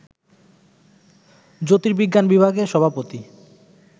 জ্যোতির্বিজ্ঞান বিভাগের সভাপতি